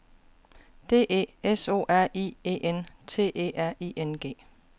D E S O R I E N T E R I N G